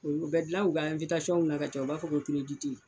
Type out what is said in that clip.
U bɛ dilan u ka na ka caya u b'a fɔ ko